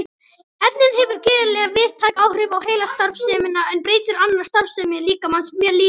Efnið hefur gríðarlega víðtæk áhrif á heilastarfsemina en breytir annarri starfsemi líkamans mjög lítið.